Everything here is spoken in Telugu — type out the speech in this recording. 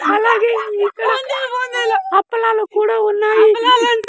అలాగే ఇక్కడ అప్పలాలు కూడా ఉన్నాయి .